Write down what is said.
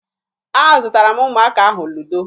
Azụtara m ụmụaka ahụ ludo